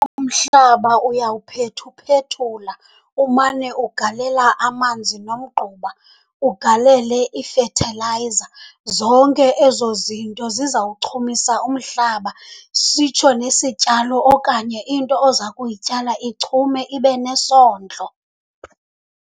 Umhlaba uyawuphethuphethula, umane ugalela amanzi nomgquba, ugalele ifethilayiza. Zonke ezo zinto zizawuchumisa umhlaba, sitsho nesityalo okanye into oza kuyityala ichume ibe nesondlo.